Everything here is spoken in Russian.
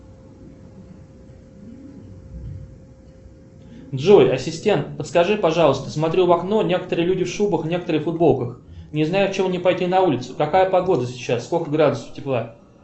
джой ассистент подскажи пожалуйста смотрю в окно некоторые люди в шубах некоторые в футболках не знаю в чем мне пойти на улицу какая погода сейчас сколько градусов тепла